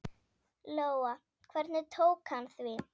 Lóa: Hvernig tók hann því?